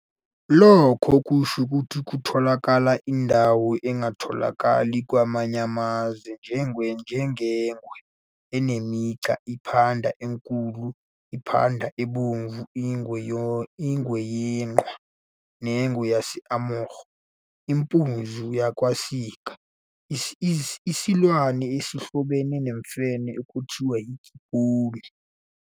Lokho kusho ukuthi kutholakala indalo engatholakali kwamanye amazwe njengeNgwe enemiGqa, iPhanda eNkulu, iPhanda eBomvu, iNgwe yeQhwa neNgwe yaseAmur, impunzi yakaSika, isilwane esihlobene nemfene ekuthiwa yiGibhoni.